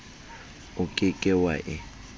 o ke ke wa e